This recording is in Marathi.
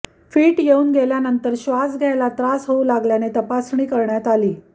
फीट येऊन गेल्यानंतर श्वास घ्यायला त्रास होऊ लागल्याने तपासणी करण्यात आली